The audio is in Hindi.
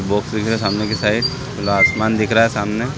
बॉक्स दिख रहे है सामने की साइड खुला आसमान दिख रहा है सामने --